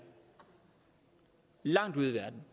langt ude i verden